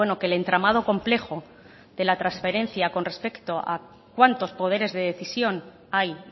que el entramado complejo de la transferencia con respecto a cuántos poderes de decisión hay